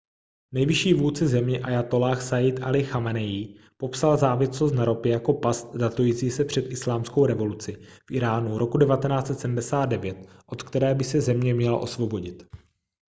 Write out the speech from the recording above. nejvyšší vůdce země ájatolláh sajjid alí chameneí popsal závislost na ropě jako past datující se před islámskou revoluci v íránu roku 1979 od které by se země měla osvobodit